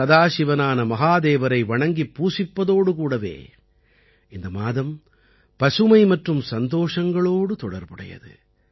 சதாசிவனான மகாதேவரை வணங்கிப் பூசிப்பதோடு கூடவே இந்த மாதம் பசுமை மற்றும் சந்தோஷங்களோடு தொடர்புடையது